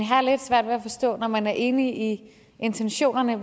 har lidt svært at forstå at man når man er enig i intentionerne